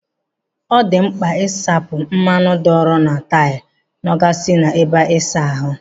Ọ dị mkpa isachapụ mmanụ dọọrọ na taịlụ nọ gasịrị n'ebe ịsa ahụ.